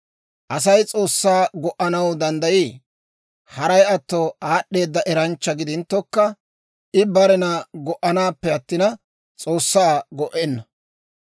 «Asay S'oossaa go"anaw danddayii? Haray atto aad'd'eeda eranchcha gidinttokka, I barena go"anaappe attina, S'oossaa go"enna.